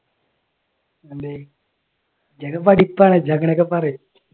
എന്തേ? നീയൊക്കെ പഠിപ്പാണ് നീ അങ്ങനെയൊക്കെ പറയും.